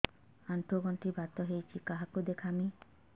ଆଣ୍ଠୁ ଗଣ୍ଠି ବାତ ହେଇଚି କାହାକୁ ଦେଖାମି